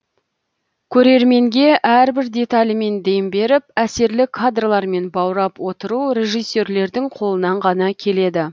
көрерменге әрбір деталімен дем беріп әсерлі кадрлармен баурап отыру режиссерлердің қолынан ғана келеді